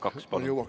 Kaks, palun!